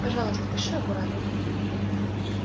пожалуйста пиши аккуратно